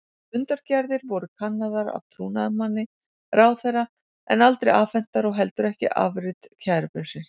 Fundargerðir voru kannaðar af trúnaðarmanni ráðherra en aldrei afhentar og heldur ekki afrit kærubréfsins.